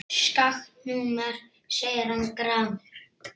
Skakkt númer segir hann gramur.